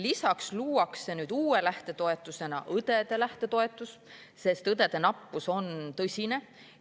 Lisaks luuakse uue lähtetoetusena õdede lähtetoetus, sest õdede nappus on tõsine.